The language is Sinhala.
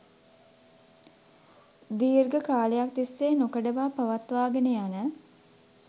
දීර්ඝ කාලයක් තිස්සේ නොකඩවා පවත්වාගෙන යන